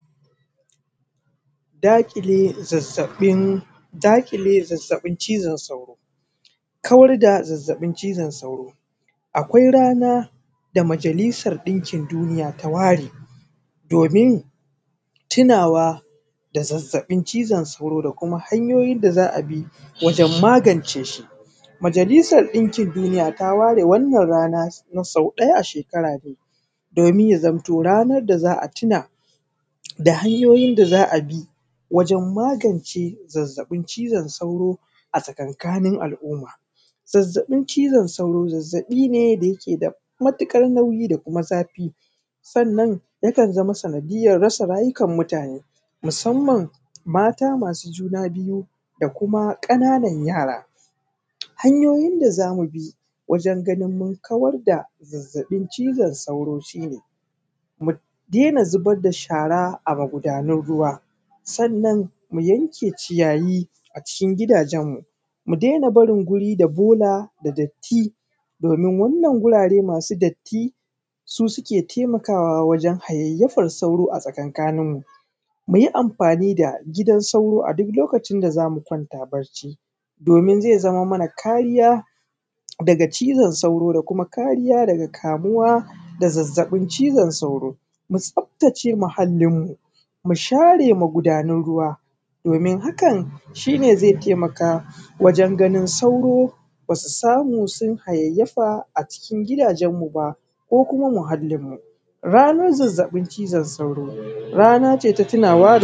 Daƙile zazzaɓin cizon sauro. Kawar da zazzaɓin cizon sauro. Akwai ranar da majalisan ɗikin duniya ta ware domin tunawa da zazzaɓin cizon sauro, da kuma hanyoyin da za a bi wajen magance shi. Majalisan ɗikin duniya ta ware wannan rana na sau ɗaya a shekara domin ya zamto ranar da za a tuna da hanyoyin da za a bi wajan magance zazzaɓin cizon sauro a tsakankanin al'umma. Zazzaɓin cizon sauro, zazzaɓi ne da take da matuƙar nauyi da kuma zafi, sannan yakan zama sanadiyar rasa rayukan mutane, musanman mata masu juna biyu, da kuma ƙananan yara. Hanyoyin da za mu bi wajan ganin mun kawar da zazzaɓin cizon sauro shi ne, mu daina zubar da shara a magudanan ruwa, sannan mu yanke ciyayi a cikin gidajen mu, mu daina barin guri da bola da datti domin wannan gurare masu datti su suke taimakawa wajan hayayyafar sauro a tsakaninmu. Muyi amfani da gidan sauro a duk lokacin da zamu kwanta bacci domin zai zamo mana kariya daga cizon sauro da kuma kariya da kamuwa da zazzaɓin cizon sauro. Mu tsaftace muhallinmu, share magudanan ruwa, domin hakan shi ne zai taimaka wajan ganin sauro ba su samu sun hayayyafa a cikin gidajen mu ba, ko kuma muhalin mu. Ranan zazzaɓin cizon sauro, rana ce ta tunawa da.